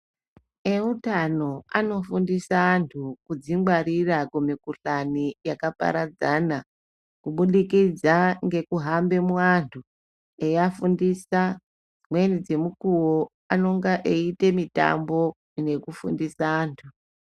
Eutano anofundisa antu kudzingwarira kumikuhlani yakaparadzana, kubudikidza ngekuhambe muantu eiafundisa. Dzimweni dzemukuwo anonga eiite mitambo, nekufundisa antu.